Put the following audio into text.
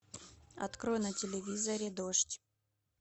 открой на телевизоре дождь